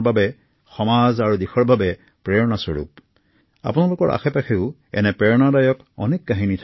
আমাৰ সমাজ তথা দেশৰ বাবে ড০ প্ৰকাশ ৰাও এক আদৰ্শ এক অনুপ্ৰেৰণা হোৱা উচিত